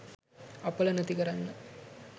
අපල නැති කරන්න